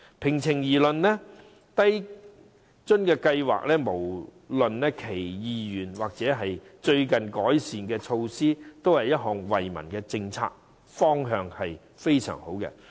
平心而論，低津計劃，不論是原有計劃，或是最近的改善措施，也是一項惠民政策，方向非常好。